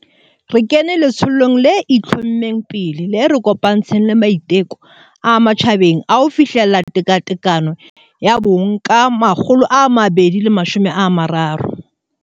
Re kene letsholong le itlho-mmeng pele le re kopantshang le maiteko a matjhabeng a ho fihlella tekatekano ya bong ka 2030.